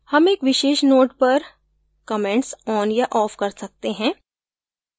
हम एक विशेष node पर comments on या off कर सकते हैं